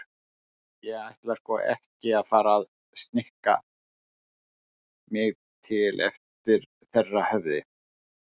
Ég ætla sko ekki að fara að snikka mig til eftir þeirra höfði.